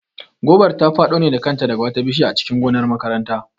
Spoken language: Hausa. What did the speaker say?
Gobar ta faɗo ne da kanta daga wata bishiya a cikin gonar makaranta